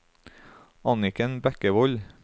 Anniken Bekkevold